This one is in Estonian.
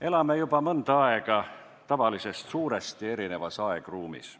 Elame juba mõnda aega tavalisest suuresti erinevas aegruumis.